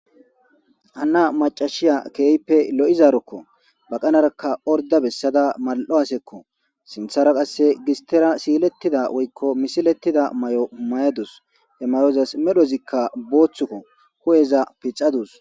hHana macashiya keehppe lo'izaarokko baqanarakka orda bessada mal'o asekko sinthara qasse gistira siilettida woykko misilettida may'o humayadus he mayozas medhozikka booththukko ho'eza piccadus.